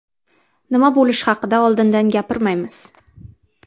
Nima bo‘lishi haqida oldindan gapirmaymiz.